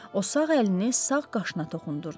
O sağ əlini sağ qaşına toxundurdu.